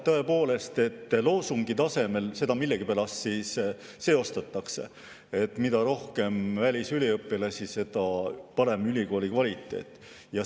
Tõepoolest, loosungi tasemel seda millegipärast seostatakse nii, et mida rohkem välisüliõpilasi, seda parem ülikooli kvaliteet.